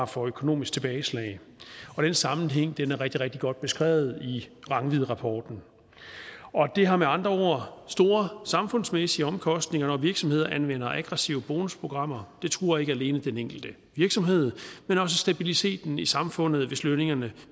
for økonomiske tilbageslag den sammenhæng er rigtig rigtig godt beskrevet i rangvidrapporten det har med andre ord store samfundsmæssige omkostninger når virksomheder anvender aggressive bonusprogrammer det truer ikke alene den enkelte virksomhed men også stabiliteten i samfundet hvis lønningerne